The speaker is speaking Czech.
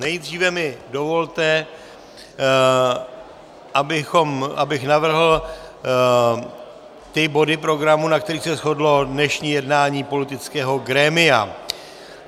Nejdříve mi dovolte, abych navrhl ty body programu, na kterých se shodlo dnešní jednání politického grémia.